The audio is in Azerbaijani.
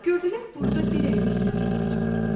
Gördülər burda bir əyri söyüd ağacı var.